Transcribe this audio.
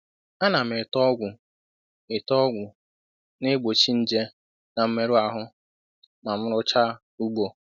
A na m ete ọgwụ ete ọgwụ na-egbochi nje n'mmerụ ahụ ma m nrụchaa ugbo.